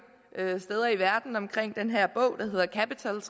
steder i verden om den her bog der hedder capital